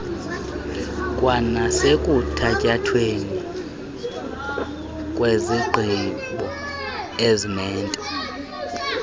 kwanasekuthatyathweni kwezigqibo ezinento